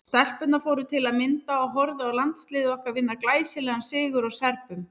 Stelpurnar fóru til að mynda og horfðu á landsliðið okkar vinna glæsilegan sigur á Serbum.